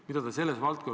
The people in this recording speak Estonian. Tänan küsimuse eest!